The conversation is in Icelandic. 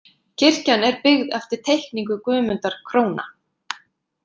Kirkjan er byggð eftir teikningu Guðmundar króna